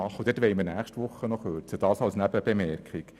Dort wollen wir nächste Woche kürzen, dies einfach als Nebenbemerkung.